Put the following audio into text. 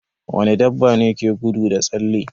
Wani dabbane ke gudu da tsalle?